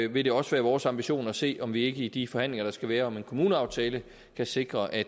vil det også være vores ambition at se om vi ikke i de forhandlinger der skal være om en kommuneaftale kan sikre at